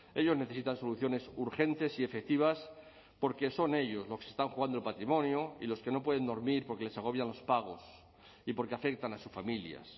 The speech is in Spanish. ellos necesitan soluciones urgentes y efectivas porque son ellos los que se están jugando el patrimonio y los que no pueden dormir porque les agobian los pagos y porque afectan a sus familias